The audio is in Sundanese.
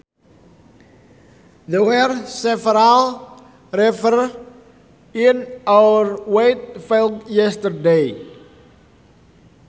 The were several reapers in our wheat field yesterday